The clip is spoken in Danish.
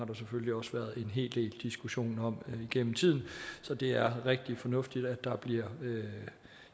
der selvfølgelig også været en hel del diskussioner om gennem tiden så det er rigtig fornuftigt at der bliver